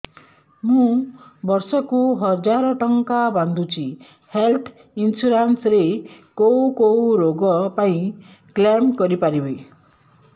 ମୁଁ ବର୍ଷ କୁ ହଜାର ଟଙ୍କା ବାନ୍ଧୁଛି ହେଲ୍ଥ ଇନ୍ସୁରାନ୍ସ ରେ କୋଉ କୋଉ ରୋଗ ପାଇଁ କ୍ଳେମ କରିପାରିବି